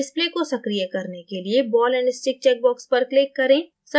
display को सक्रिय करने के लिए ball and stickचेक box पर click करें